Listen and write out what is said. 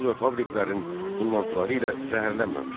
Zavod və fabriklərin tullantıları ilə zəhərlənməmişdi.